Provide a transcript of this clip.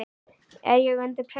er ég undir pressu?